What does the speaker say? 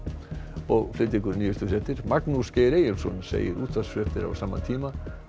og flytja ykkur nýjustu fréttir Magnús Geir Eyjólfsson segir útvarpsfréttir á sama tíma